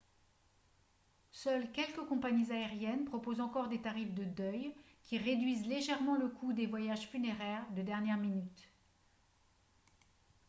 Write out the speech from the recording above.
seules quelques compagnies aériennes proposent encore des tarifs de deuil qui réduisent légèrement le coût des voyages funéraires de dernière minute